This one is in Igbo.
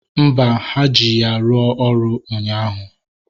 Mba, ha ji ya rụọ ọrụ ụnyaahụ